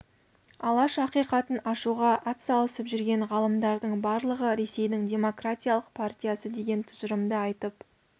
алаш ақиқатын ашуға атсалысып жүрген ғалымдардың барлығы ресейдің демократиялық партиясы деген тұжырымды айтып